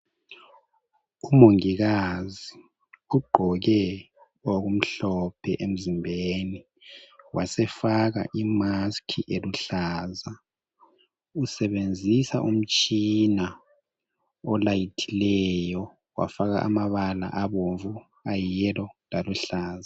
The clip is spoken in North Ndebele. Umongikazi ugqoke okumhlophe emzimbeni , wasefaka imask eluhlaza , usebenzisa umtshina olayithileyo wafaka amabala abomvu ayiyelollow laluhlaza